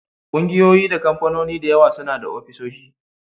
Ƙungiyoyi da kamfanoni da yawa suna da ofisoshi